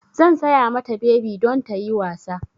Zan saya mata bebi don ta yi wasa.